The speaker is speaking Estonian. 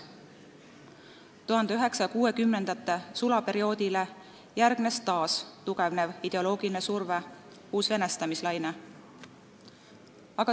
1960-ndate sulaperioodile järgnes taas tugevnev ideoloogiline surve, uus venestamise laine.